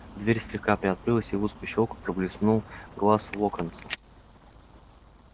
дверь слегка приоткрылась и в узкую щёлку блеснул глаз локонса